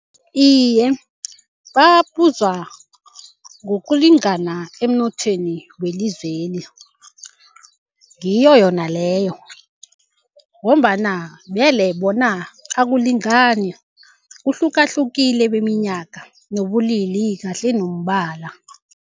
Iye, babuzwa ngokulingana emnothweni welizweli. Ngiyo yona leyo ngombana vele bona akulingani, kuhlukahlukile beminyaka nobulili kahle nombala.